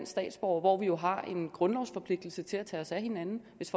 statsborgere hvor vi jo har en grundlovsforpligtelse til at tage os af hinanden hvis